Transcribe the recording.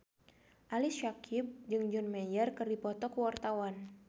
Ali Syakieb jeung John Mayer keur dipoto ku wartawan